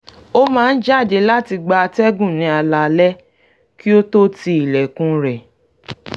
ó máa ń jáde láti gba atẹ́gùn ní alaalaẹ́ kí ó tó ti ilẹ̀kùn rẹ̀